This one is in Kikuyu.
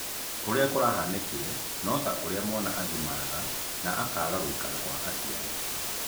Ũrĩa kũrahanĩkire no ta ũrĩa mwana agĩmaraga na agatiga gũikara kwa mũciari.